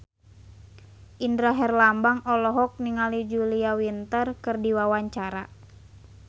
Indra Herlambang olohok ningali Julia Winter keur diwawancara